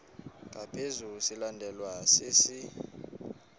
ngaphezu silandelwa sisi